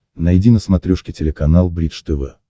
найди на смотрешке телеканал бридж тв